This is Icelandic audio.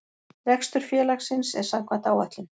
Rekstur félagsins er samkvæmt áætlun